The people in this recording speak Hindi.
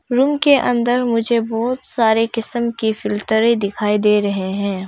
रूम के अंदर मुझे बहुत सारे किस्म की फिल्टरे दिखाई दे रहे हैं।